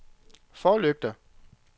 forlygter